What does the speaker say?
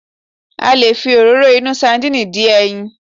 A lè fi Òróró inú sandínì dín ẹyin